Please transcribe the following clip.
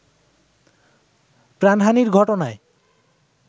প্রাণহানির ঘটনায়